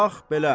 Bax belə.